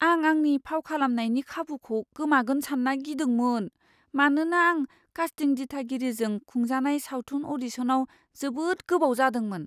आं आंनि फाव खालामनायनि खाबुखौ गोमागोन सान्ना गिदोंमोन, मानोना आं कास्टिं दिथागिरिजों खुंजानाय सावथुन अ'डिशनाव जोबोद गोबाव जादोंमोन।